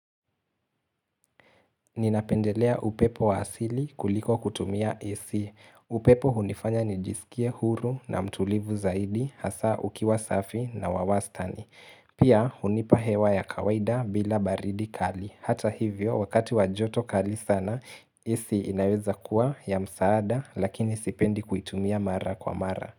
Ninapendelea upepo wa asili kuliko kutumia AC. Upepo hunifanya nijisikia huru na mtulivu zaidi hasa ukiwa safi na wawastani. Pia hunipa hewa ya kawaida bila baridi kali. Hata hivyo wakati wajoto kali sana AC inaweza kuwa ya msaada lakini sipendi kuitumia mara kwa mara.